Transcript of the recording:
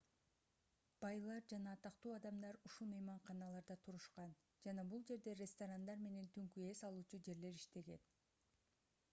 байлар жана атактуу адамдар ушул мейманканаларда турушкан жана бул жерде ресторандар менен түнкү эс алуучу жерлер иштеген